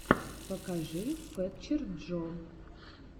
покажи фэтчер джо